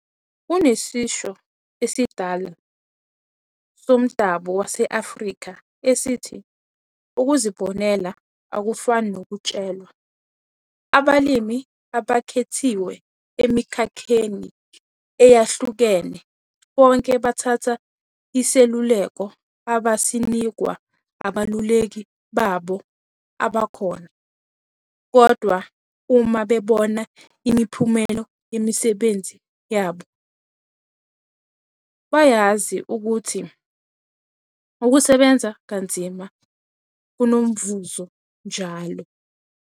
Kunesisho esidala somdabu wase-Afrika esithi ukuzibonela akufani nokutshelwa. Abalimi abakhethiwe emikhakheni eyahlukene bonke bathatha iseluleko abasinikwa abeluleki babo abakhona, kodwa uma bebona imiphumela yemisebenzi yabo, bayazi ukuthi ukusebenza kanzima kunomvuzo njalo.